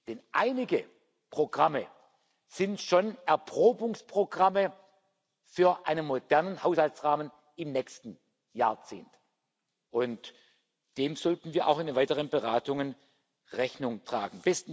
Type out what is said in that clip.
Denn einige Programme sind schon Erprobungsprogramme für einen modernen Haushaltsrahmen im nächsten Jahrzehnt, und dem sollten wir auch in den weiteren Beratungen Rechnung tragen.